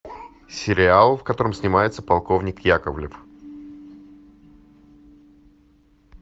сериал в котором снимается полковник яковлев